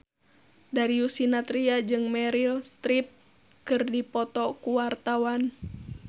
Darius Sinathrya jeung Meryl Streep keur dipoto ku wartawan